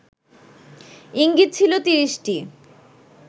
ইঙ্গিত ছিল ৩০টি